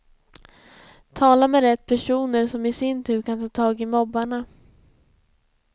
Tala med rätt personer som i sin tur kan ta tag i mobbarna.